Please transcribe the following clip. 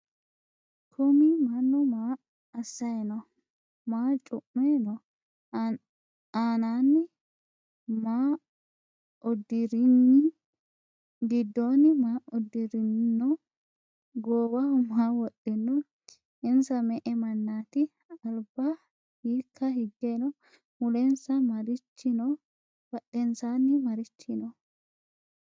kuumi maanu maa asayi no?maa cu'me no?annani maudirin? gidoni maa uddirino? gowaho maa wodhino? insa me"e maanati? alba hika hige no?mulensa marichi no?badhensani marichi no?